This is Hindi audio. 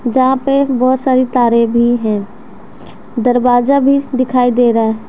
जहां पे बहुत सारी तारे भी हैं दरवाजा भी दिखाई दे रहा--